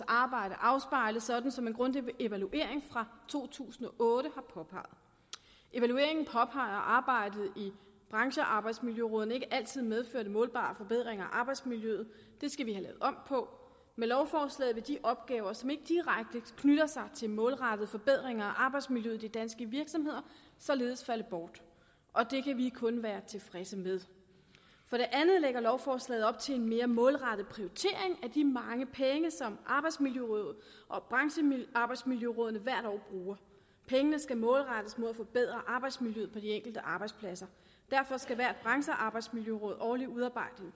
arbejde afspejle sådan som en grundig evaluering fra to tusind og otte har påpeget evalueringen påpeger at arbejdet i branchearbejdsmiljørådene ikke altid medfører målbare forbedringer af arbejdsmiljøet det skal vi have lavet om på og med lovforslaget vil de opgaver som ikke direkte knytter sig til målrettede forbedringer af arbejdsmiljøet i de danske virksomheder således falde bort og det kan vi kun være tilfredse med for det andet lægger lovforslaget op til en mere målrettet prioritering af de mange penge som arbejdsmiljørådet og branchearbejdsmiljørådene hvert år bruger pengene skal målrettes mod at forbedre arbejdsmiljøet på de enkelte arbejdspladser derfor skal hvert branchearbejdsmiljøråd årligt udarbejde